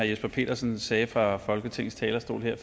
jesper petersen sagde fra folketingets talerstol her